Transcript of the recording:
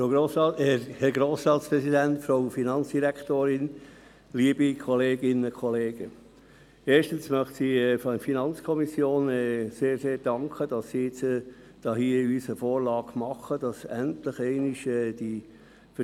Erstens möchte ich der FiKo einen grossen Dank aussprechen dafür, dass sie uns nun eine Vorlage unterbreitet, mit der diese Vertrauensarbeit nun endlich einmal kommt.